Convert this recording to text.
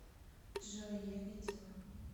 джой я видела